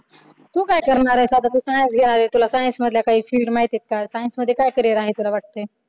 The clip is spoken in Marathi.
तू काय आता करणार आहेस तू science घेणार आहेस आता तुला science मधल्या काही field माहिती आहेत का science मध्ये काय carrier आहे तुला वाटतंय